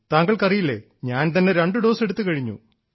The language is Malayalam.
താങ്കൾക്കറിയില്ലേ ഞാൻ തന്നെ രണ്ടു ഡോസ് എടുത്തുകഴിഞ്ഞു